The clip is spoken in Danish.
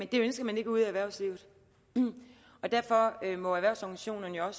det ønsker man ikke ude i erhvervslivet derfor må erhvervsorganisationerne og